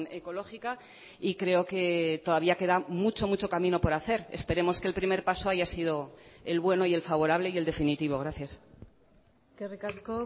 ecológica y creo que todavía queda mucho mucho camino por hacer esperemos que el primer paso haya sido el bueno y el favorable y el definitivo gracias eskerrik asko